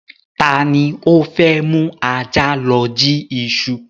Ta ni o fẹ́ mú ajá lọ jí iṣu?